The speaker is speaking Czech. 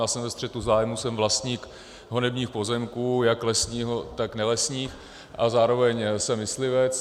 Já jsem ve střetu zájmů, jsem vlastník honebních pozemků jak lesních, tak nelesních a zároveň jsem myslivec.